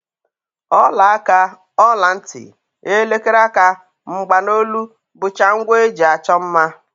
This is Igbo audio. Ọlaaka, ọlantị, elekere aka, mgbanolu bụcha ngwa e ji achọ mma